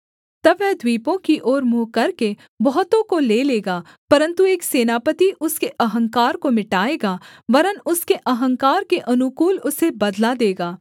तब वह द्वीपों की ओर मुँह करके बहुतों को ले लेगा परन्तु एक सेनापति उसके अहंकार को मिटाएगा वरन् उसके अहंकार के अनुकूल उसे बदला देगा